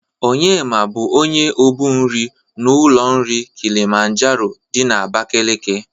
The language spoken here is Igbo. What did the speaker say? Onyema bụ onye obu nri n'ụlọ nri Kịlịmanjero dị na Abakeleke.